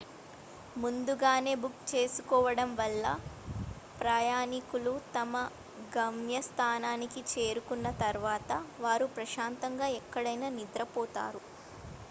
ముందుగానే బుక్ చేసుకోవడం వల్ల ప్రయాణికులు తమ గమ్యస్థానానికి చేరుకున్న తర్వాత వారు ప్రశాంతంగా ఎక్కడనైనా నిద్రపోతారు